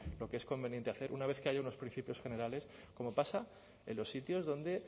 lo que es conveniente hacer una vez que haya unos principios generales como pasa en los sitios donde